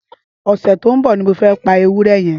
Ọsẹ tó n bọ ni mó fẹ̀ pà éwùrẹ̀ yèn